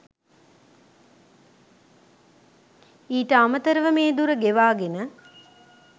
ඊට අමතරව මේ දුර ගෙවාගෙන